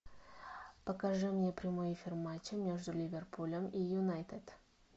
покажи мне прямой эфир матча между ливерпулем и юнайтед